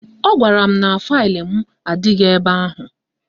Ọ gwara m na faịlụ m adịghị ebe ahụ